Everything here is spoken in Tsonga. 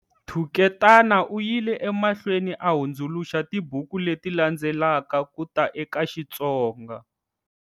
Thuketana u yile emahlweni a hundzuluxa tibuku leti landzelaka ku ta eka Xitsonga-